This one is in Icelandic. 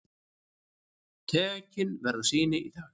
Tekin verða sýni í dag.